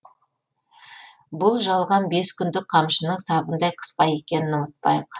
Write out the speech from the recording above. бұл жалған бес күндік қамшының сабындай қысқа екенін ұмытпайық